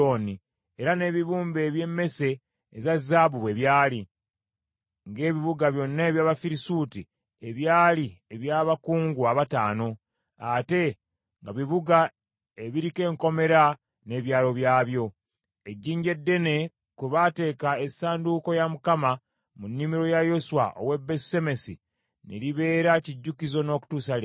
era n’ebibumbe eby’emmese eza zaabu bwe byali, ng’ebibuga byonna eby’Abafirisuuti ebyali eby’Abakungu abataano, ate nga bibuga ebiriko enkomera n’ebyalo byabyo. Ejjinja eddene kwe baateeka essanduuko ya Mukama mu nnimiro ya Yoswa ow’e Besusemesi, ne libeera kijjukizo n’okutuusa leero.